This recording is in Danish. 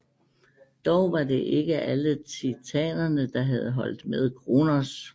Dog var det ikke alle Titanerne der havde holdt med Kronos